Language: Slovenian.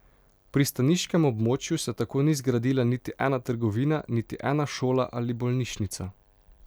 V pristaniškem območju se tako ni zgradila niti ena trgovina, niti ena šola ali bolnišnica.